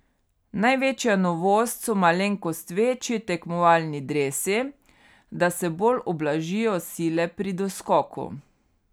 Največja novost so malenkost večji tekmovalni dresi, da se bolj ublažijo sile pri doskoku.